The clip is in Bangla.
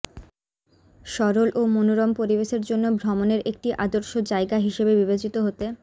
সরল ও মনোরম পরিবেশের জন্য ভ্রমণের একটি আদর্শ জায়গা হিসেবে বিবেচিত হতে